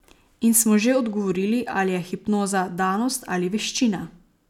In smo že odgovorili, ali je hipnoza danost ali veščina.